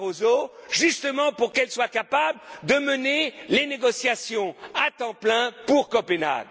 y compris M. Barroso, justement pour qu'elle soit capable de mener les négociations à temps plein pour